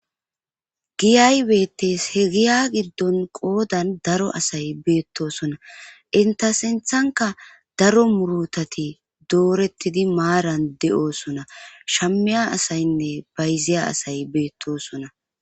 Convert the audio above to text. giyay beetes he giya giddon qoodan daro asay beettosona inta sinthanka daro murutati doorettidi maaran de7oosona shammiya asaynne bayziya asay beettosona